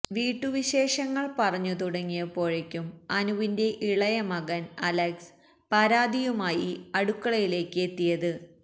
വീട്ടുവിശേഷങ്ങള് പറഞ്ഞു തുടങ്ങിയപ്പോഴേക്കും അനുവിന്റെ ഇളയ മകന് അലക്സ് പരാതിയുമായി അടുക്കളയിലേക്ക് എത്തിയത്